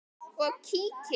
og kíki.